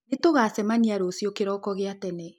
Nĩ tũgacemania rũciũ kĩroko gĩa tene